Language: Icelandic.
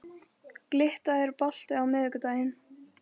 Glytta, er bolti á miðvikudaginn?